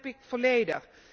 Dat begrijp ik volledig.